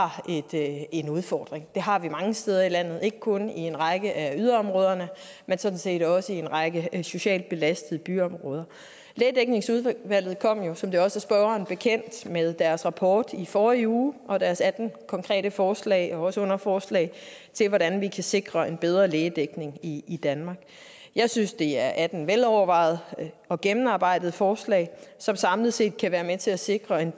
er en udfordring det har vi mange steder i landet ikke kun i en række af yderområderne men sådan set også i en række socialt belastede byområder lægedækningsudvalget kom jo som det også er spørgeren bekendt med deres rapport i forrige uge og deres atten konkrete forslag og også underforslag til hvordan vi kan sikre en bedre lægedækning i i danmark jeg synes det er atten velovervejede og gennemarbejdede forslag som samlet set kan være med til at sikre en